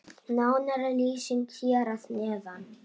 Nánari lýsing hér að neðan.